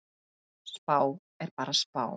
Spá er bara spá.